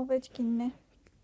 օվեչկինն է